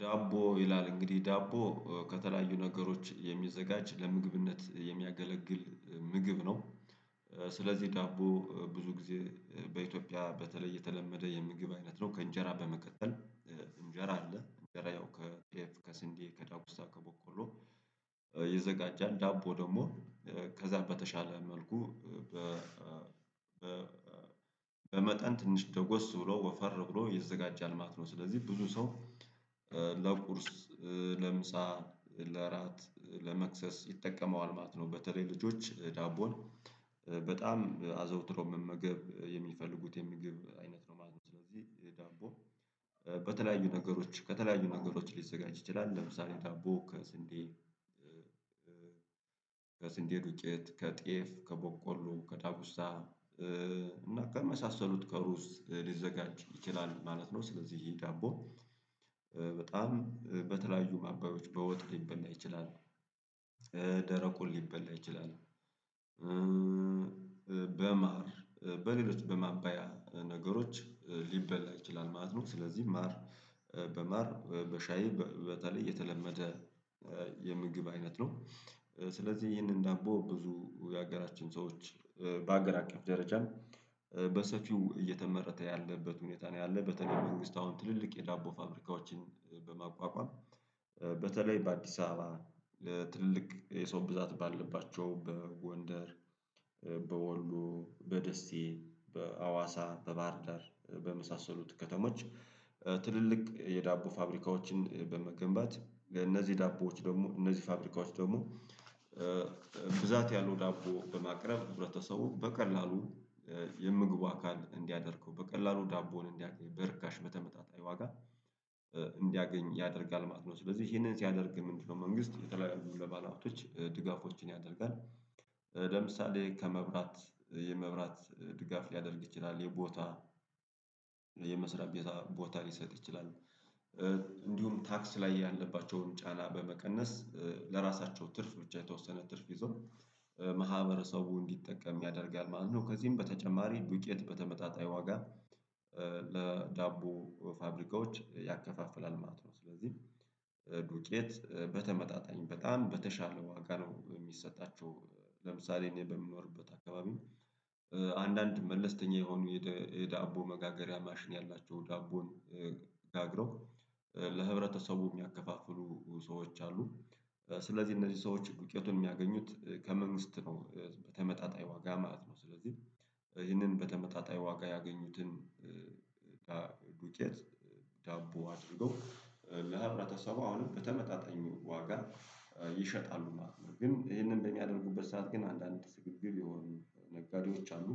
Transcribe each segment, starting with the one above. ዳቦ ይላል እንግዲህ ዳቦ ከተለያዩ ነገሮች የሚዘጋጅ ለምግብነት የሚያገለግል ምግብ ነው። ስለዚህ ዳቦ ብዙ ጊዜ በኢትዮጵያ በተለይ የተለመደ የምግብ አይነት ነው ከእንጀራ በመቀጠል። እንጀራ አለ እንጀራ ያው ከጤፍ ከስንዴ ከዳጉሳ ከቦቆሎ ይዘጋጃል ዳቦ ደግሞ ከዛ በተሻለ መልኩ በ በመጠን ትንሽ ደጎስ ብሎ ወፈር ብሎ ይዘጋጃል ማለት ነው። ስለዚህ ብዙ ሰው ለቁርስ ለምሳ ለራት ለመክሰስ ይጠቀመዋል ማለት ነው። በተለይ ልጆች ዳቦን በጣም አዘውትሮው መመገብ የሚፈልጉት የምግብ አይነት ነው ማለት ነው። ስለዚህ ዳቦ በተለያዩ ነገሮች ከተለያዩ ነገሮች ሊዘጋጅ ይችላል ለምሳሌ ዳቦ ከስንዴ ከስንዴ ዱቄት ከጤፍ ከቦቆሎ ከዳጉሳ እና ከመሳሰሉት ከሩዝ ሊዘጋጅ ይችላል ማለት ነው። ስለዚህ ይሄ ዳቦ በጣም በተለያዩ ማባዮች በወጥ ሊበላ ይችላል ደረቁን ሊበላ ይችላል በማር በሌሎች በማባያ ነገሮች ሊበላ ይችላል ማለት ነው። ስለዚህ ማር በማር በሻይ በተለይ የተለመደ የምግብ አይነት ነው። ስለዚህ ይህንን ዳቦ ብዙ የሀገራችን ሰዎች በአገር አቀፍ ደረጃ በሰፊው እየተመረተ ያለበት ሁኔታ ነው ያለው በተለይ መንግስት አሁን ትልልቅ የዳቦ ፋብሪካዎችን በማቋቋም በተለይ በአዲስ አበባ ለትልቅ የሰው ብዛት ባለባቸው በጎንደር በወሎ በደሴ በአዋሳ በባህርዳር በመሳሰሉት ከተሞች ትልልቅ የዳቦ ፋብሪካዎችን በመገንባት እነዚህ ዳቦዎች ደግሞ እነዚህ ፋብሪካዎች ደግሞ ብዛት ያሉ ዳቦ በማቅረብ ህብረተሰቡ በቀላሉ የምግቡ አካል እንዲያደርገው በቀላሉ ዳቦን እንዲያውቅ በርካሽ መተመጣጣኝ ዋጋ እንዲያገኝ ያደርጋል ማለት ነው። ስለዚህ ይሄንን ሲያደርግ ምንድነው? መንግስት የተለያዩ ለባለሃብቶች ድጋፎችን ያደርጋል። ለምሳሌ ከመብራት የመብራት ድጋፍ ሊያደርግ ይችላል የቦታ የመስሪያ ቤት ቦታ ሊሰጥ ይችላል። እንዲሁም ታክስ ላይ ያለባቸውን ጫና በመቀነስ ለራሳቸው ትርፍ ብቻ የተወሰነ ትርፍ ይዞ ማህበረሰቡ እንዲጠቀም ያደርጋል ማለት ነው። ከዚህም በተጨማሪ ዱቄት በተመጣጣኝ ዋጋ ለዳቦ ፋብሪካዎች ያከፋፍላል ማለት ነው። ስለዚህ ዱቄት በተመጣጣኝ በጣም በተሻለ ዋጋ ነው የሚሰጣቸው ለምሳሌ እኔ በምኖርበት አካባቢ አንዳንድ መለስተኛ የሆኑ የዳቦ መጋገሪያ ማሽን ያላቸው ዳቦን ጋግረው ለህብረተሰቡ የሚያከፋፍሉ ሰዎች አሉ። ስለዚህ እነዚህ ሰዎች ዱቄቱን የሚያገኙት ከመንግስት ነው በተመጣጣኝ ዋጋ ማለት ነው። ስለዚህ ይህንን በተመጣጣኝ ዋጋ ያገኙትን ዱቄት ዳቦ አድርገው ለህብረተሰቡ አሁንም በተመጣጣኝ ዋጋ ይሸጣሉ ማለት ነው። ግን ይሄንን በሚያደርጉበት ሰዓት ግን አንዳንድ ስግብግብ የሆኑ ነጋዴዎች አሉ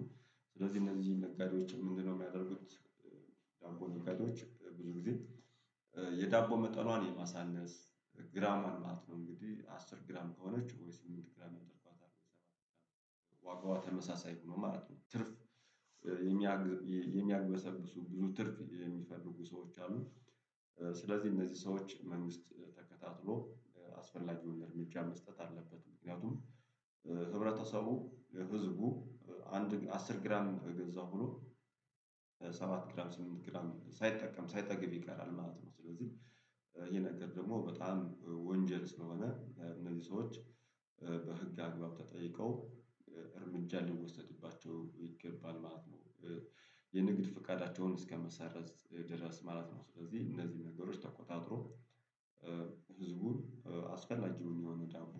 ስለዚህ እነዚህ ነጋዴዎች ምንድነው የሚያደርጉት? ዳቦ ነጋዴዎች ብዙ ጊዜ የዳቦ መጠኗን የማሳነስ ግራም አላት ነው እንግዲህ አስር ግራም ከሆነች ወይ ስምንት ግራም ያደርጓታል ዋጋዋ ተመሳሳይ ሆኖ ማለት ነው። ትርፍ የሚያግበሰብሱ ብዙ ትርፍ የሚፈልጉ ሰዎች አሉ። ስለዚህ እነዚህ ሰዎች መንግስት ተከታትሎ አስፈላጊዉን እርምጃ መስጠት አለበት ምክንያቱም ህብረተሰቡ ህዝቡ አንድ አስር ግራም ገዛው ብሎ ሰባት ግራም ስምንት ግራም ሳይጠቀም ሳይጠግብ ይቀራል ማለት ነው። ስለዚህ ይሄ ነገር ደግሞ በጣም ወንጀል ስለሆነ እነዚህ ሰዎች በህግ አግባብ ተጠይቀው እርምጃ ሊወሰድባቸው ይገባል ማለት ነው። የንግድ ፍቃዳቸውን እስከመሰረዝ ድረስ ማለት ነው። ስለዚህ እነዚህ ነገሮች ተቆጣጥሮ ህዝቡ አስፈላጊ የሆነዉን ዳቦ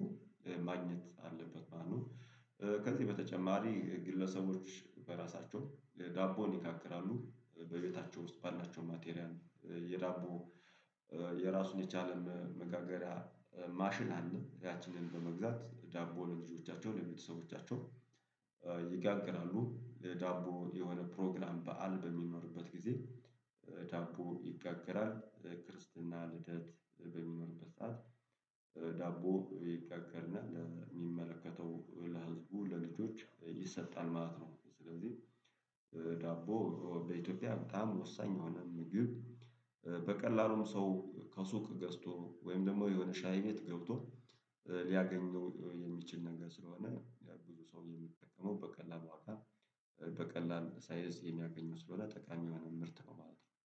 ማግኘት አለበት ማለት ነው። ከዚህ በተጨማሪ ግለሰቦች በራሳቸውን ዳቦን ይጋግራሉ በቤታቸው ውስጥ ባላቸው ማቴሪያን የዳቦ የራሱን የቻለ መጋገሪያ ማሽን አለ ያቺንን በመግዛት ዳቦን ለልጆቻቸው ለቤተሰቦቻቸው ይጋግራሉ። ዳቦን የሆነ ፕሮግራም በዓል በሚኖርበት ጊዜ ዳቦ ይጋገራል ክርስትና ልደት በሚኖርበት ሰዓት ዳቦ ይጋገርና ለሚመለከተው ለህዝቡ ለልጆች ይሰጣል ማለት ነው። ስለዚህ ዳቦ በኢትዮጵያ በጣም ወሳኝ የሆነ ምግብ በቀላሉም ሰው ከሱቅ ገዝቶ ወይም ደግሞ የሆነ ሻይ ቤት ገብቶ ሊያገኘው የሚችል ነገር ስለሆነ ብዙ ሰው የሚጠቀመው በቀላሉ አካል በቀላል ሳይዝ የሚያገኙት ስለሆነ ጠቃሚ ምርት ነው ማለት ነው